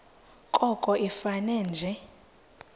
koko ifane nje